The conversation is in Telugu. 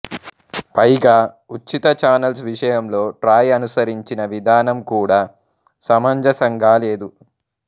పైగా ఉచిత చానల్స్ విషయంలో ట్రాయ్ అనుసరించిన విధానం కూడా సమంజసంగాలేదు